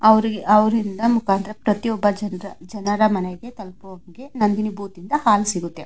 ಅವರಿಗೆ ಅವರಿಂದ ಮುಕಾಂತ್ರ ಪ್ರತಿಯೊಬ್ಬ ಜನ್ರ ಜನರ ಮನೆಗೆ ತಲಪೋನ್ಗೆ ನಂದಿನಿ ಬೂತ್ ಇಂದ ಹಾಲು ಸಿಗುತ್ತೆ.